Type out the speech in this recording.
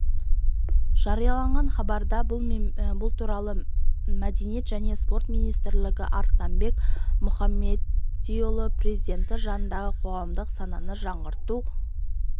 жарияланған хабарда бұл туралы мәдениет және спорт министрі арыстанбек мұхамедиұлы президенті жанындағы қоғамдық сананы жаңғырту